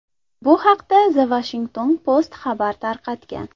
Bu haqda The Washington Post xabar tarqatgan .